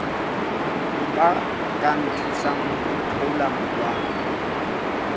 ba ka nthusang ho itholamorwalo